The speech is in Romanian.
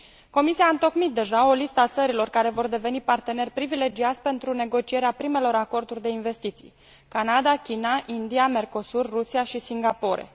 Comisia a întocmit deja o listă a țărilor care vor deveni parteneri privilegiați pentru negocierea primelor acorduri de investiții Canada, China, India, Mercosur, Rusia și Singapore.